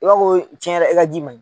I b'a fɔ ko tiɲɛ yɛrɛ i ka ji man ɲiɲ.